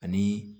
Ani